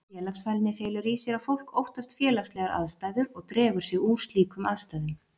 Félagsfælni felur í sér að fólk óttast félagslegar aðstæður og dregur sig úr slíkum aðstæðum.